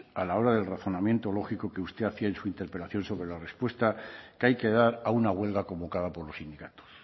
a la hora del razonamiento lógico que usted hacía en su interpelación sobre la repuesta que hay que dar a una huelga convocada por los sindicatos